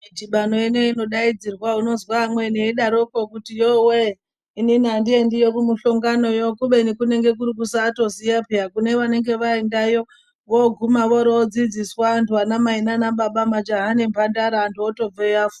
Mtribano ino peinodaidzirwa unonzwa amweni eidaropo kuti yowee ininihandiendiyo kumumuhlongano iyoyo kubeni kuri kusatoziva peya kune vanenge vaendayo voguma vodzidziswa antu anamai nanababa, majaha nemhandara vantu votobveyo vafunda.